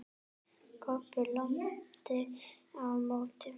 Kobbi lamdi á móti.